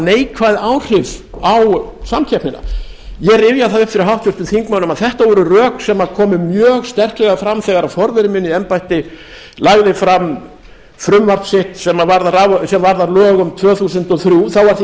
neikvæð áhrif á samkeppnina ég rifja það upp fyrir háttvirtum þingmönnum að þetta voru rök sem komu mjög sterklega fram þegar forveri minn í embætti lagði fram frumvarp sitt sem varðar lög um tvö þúsund og þrjú þá var því